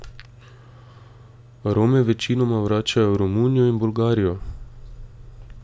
Rome večinoma vračajo v Romunijo in Bolgarijo.